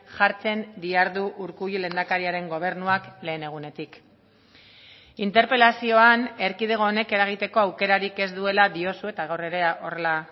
jartzen dihardu urkullu lehendakariaren gobernuak lehen egunetik interpelazioan erkidego honek eragiteko aukerarik ez duela diozu eta gaur ere horrela